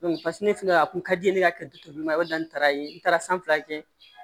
ne fɛnɛ a kun ka di n ye ne ka du ma o ni taara ye n taara san fila kɛ